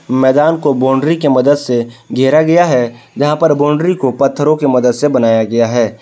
मैदान को बाउंड्री के मदद से घेरा गया है यहां पर बाउंड्री को पत्थरों की मदद से बनाया गया है।